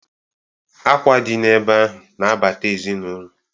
Akwa dị n' ebe ahụ na-abata ezinụlọ.